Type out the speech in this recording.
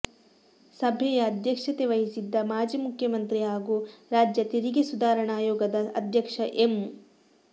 ಸಭೆಯ ಅಧ್ಯಕ್ಷತೆ ವಹಿಸಿದ್ದ ಮಾಜಿ ಮುಖ್ಯಮಂತ್ರಿ ಹಾಗೂ ರಾಜ್ಯ ತೆರಿಗೆ ಸುಧಾರಣಾ ಆಯೋಗದ ಅಧ್ಯಕ್ಷ ಎಂ